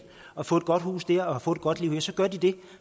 og få et godt hus der og få et godt liv så gør de det